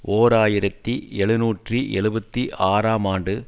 ஓர் ஆயிரத்தி எழுநூற்றி எழுபத்தி ஆறாம் ஆண்டு